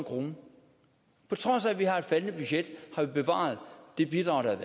krone på trods af at vi har et faldende budget har vi bevaret det bidrag der